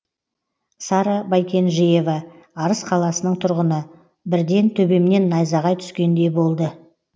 сара байкенжейова арыс қаласының тұрғыны бірден төбемнен найзағай түскендей болды